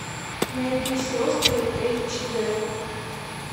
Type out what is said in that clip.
найди сестры эйч дэ